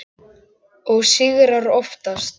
Og sigrar oftast.